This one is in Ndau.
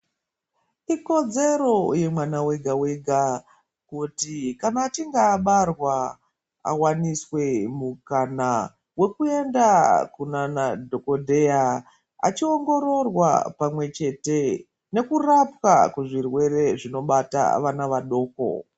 Ikodzero yemwana vega-vega, kuti kana achinge abarwa avaniswe mukana vekuenda kunana dhogodheya. Achiongororwa pamwe chete nekurapwa kuzvirwere zvinobata vana vadoko.